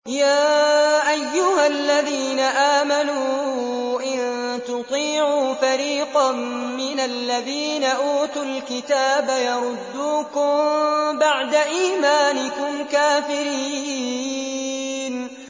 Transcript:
يَا أَيُّهَا الَّذِينَ آمَنُوا إِن تُطِيعُوا فَرِيقًا مِّنَ الَّذِينَ أُوتُوا الْكِتَابَ يَرُدُّوكُم بَعْدَ إِيمَانِكُمْ كَافِرِينَ